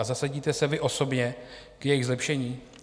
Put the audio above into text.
A zasadíte se vy osobně k jejich zlepšení?